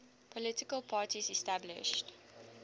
political parties established